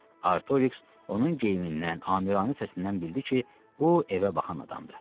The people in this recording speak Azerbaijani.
Artoriks onun geyimindən, amiranə səsindən bildi ki, bu evə baxan adamdır.